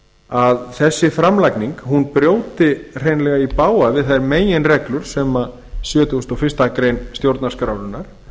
að þessi framlagning brjóti hreinlega í bága við þær meginreglur sem sjötugasta og fyrstu grein stjórnarskrárinnar